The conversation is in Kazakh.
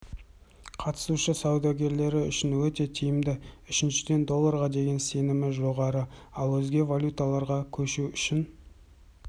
қатысушы саудагерлері үшін өте тиімді үшіншіден долларға деген сенім жоғары ал өзге валюталарға көшу үшін